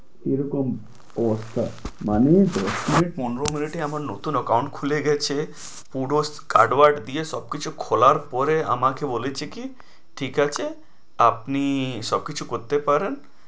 এরকম awesome মানে দশ minute পনেরো minute এ আমার নতুন account খুলে গেছে পুরো scared word দিয়ে সবকিছু খোলার পরে আমাকে বলেছে কি ঠিক আছে আপনি সব কিছু করতে পারেন।